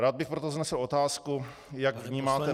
Rád bych proto vznesl otázku, jak vnímáte -